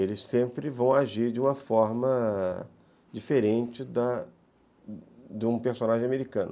Eles sempre vão agir de uma forma... diferente da de um personagem americano.